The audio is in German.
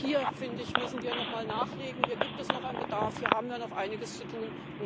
Auch hier müssen wir nochmal nachlegen, hier gibt es noch einen Bedarf, hier haben wir noch einiges zu tun.